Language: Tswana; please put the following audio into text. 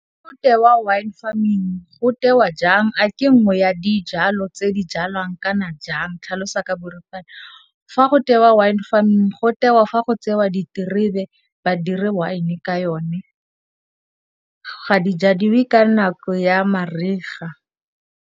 Ga go tewa Wine farming go tewa jang a ke nngwe ya dijalo tse di jalwang kana jang tlhalosa ka boripana? Fa go tewa wine farming go tewa fa go tsewa diterebe badiri one e ka yone ga di jwadiwe ka nako ya mariga.